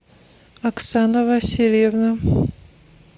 оксана васильевна